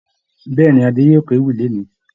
Bẹ̀ẹ́ni, Adé yóò kéwì lónì.